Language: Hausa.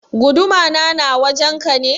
Guduma na na wajen ka ne?